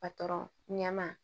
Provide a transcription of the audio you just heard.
ɲɛma